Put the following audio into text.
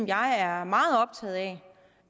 jeg er meget optaget af